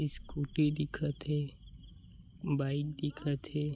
Scooty दिखत हे bike दिखत हे।